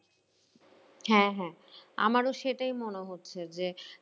হ্যাঁ হ্যাঁ আমারও সেটাই মনে হচ্ছে যে